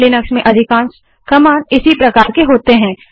Linux में अधिकांश commands इसी प्रकार की होती हैं